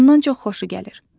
Ondan çox xoşu gəlir.